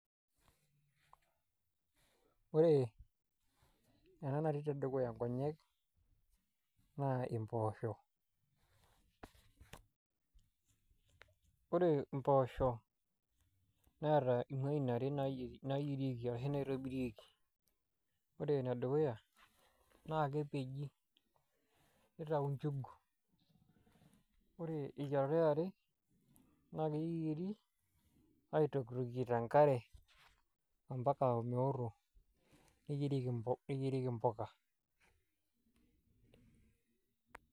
Ore ena natii tedukuya nkonyek naa mpoosho ore mpoosho neeta imuain are naitobirieki ore enedukuya naa kepeji nitau njugu ore eyiarata e are naa keyieri aitokitokie tenkare ompaka omeoto neyierieki mpuka.